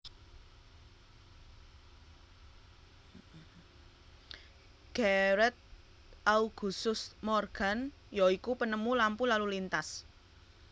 Garret Augusust Morgan ya iku penemu lampu lalu lintas